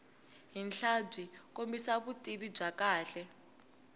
henhlabyi kombisa vutivi byo kahle